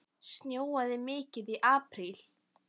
Snjóaði mikið í apríl?